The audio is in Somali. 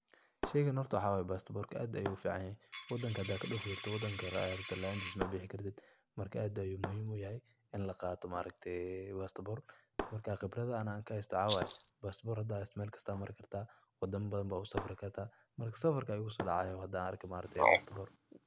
Sheygan horta waxawaya pastpor aad ayu ufican yahaay wadanka hadad kadofi rabtit wadan kale adhi rabtit laantis mabixi kartit, marka aad ayu muhim yahay in laqato maaragtaye pastpor marka qibradhaha aniga anka haysto waxawaye, pastpor hada haysato melkasto ad mari karta wadama badhan bad usafri karta marka safarkaba igu sodacayo hadan arko pastpor.